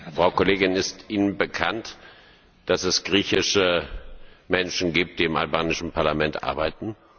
Frau Kollegin, ist Ihnen bekannt, dass es griechische Menschen gibt, die im albanischen Parlament arbeiten?